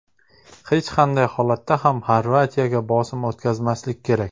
Hech qanday holatda ham Xorvatiyaga bosim o‘tkazmaslik kerak.